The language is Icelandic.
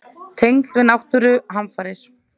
Tengsl við náttúruhamfarir?